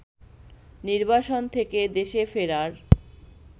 নির্বাসন থেকে দেশে ফেরার